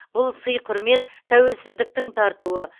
бұл сый құрмет тәуелсіздіктің тартуы